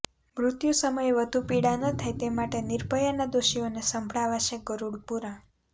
મૃત્યુ સમયે વધુ પીડા ન થાય તે માટે નિર્ભયાના દોષીઓને સંભળાવાશે ગરુડ પુરાણ